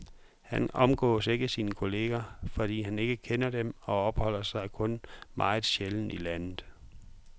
Han omgås ikke sine kolleger, fordi han ikke kender dem og opholder sig kun meget sjældent i landet.